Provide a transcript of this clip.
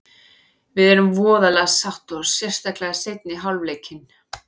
Við erum voðalega sátt og sérstaklega seinni hálfleikinn.